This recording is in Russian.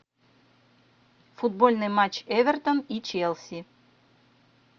футбольный матч эвертон и челси